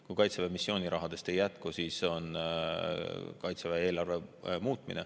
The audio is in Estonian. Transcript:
Kui Kaitseväe missioonirahadest ei jätku, siis on Kaitseväe eelarve muutmine.